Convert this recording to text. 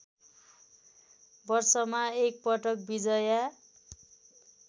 वर्षमा एकपटक बिजया